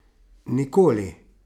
Nikoli!